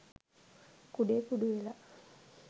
කුඩේ කුඩු වෙලා.